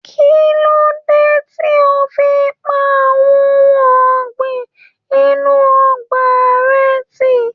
Kí ló dé tí o fi pa àwọn ohun ọ̀gìn inú ọgbà rẹ tì?